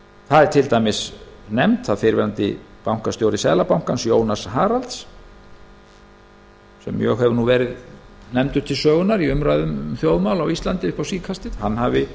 er til dæmis nefnt að fyrrverandi bankastjóri seðlabankans jónas haralz sem mjög hefur verið nefndur til sögunnar í umræðum um þjóðmál á íslandi upp á síðkastið hafi